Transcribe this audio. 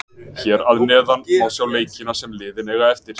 Hér að neðan má sjá leikina sem liðin eiga eftir: